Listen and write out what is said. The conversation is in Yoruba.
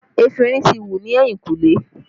Efinrin ti wù ni ehinkule